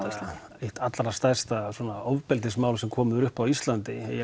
eitt allra stærsta ofbeldismál sem komið upp á Íslandi